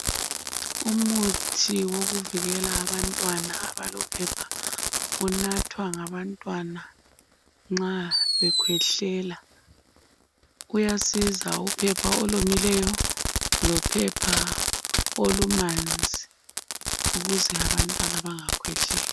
Umuthi wokuvikela abantwana abalophepha unathwa nga bantwana nxa bekhwehlela kuyasiza uphepha olomileyo lophepha olumanzi ukuze abantwana bengakhwehleli.